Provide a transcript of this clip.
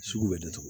Sugu bɛ datugu